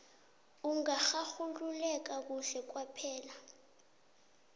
ungararululeka kuhle kwaphela